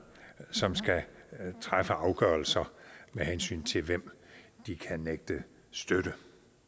som skal træffe afgørelser med hensyn til hvem de kan nægte støtte